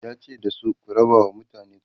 yace da su "ku rabawa mutane kuɗi!"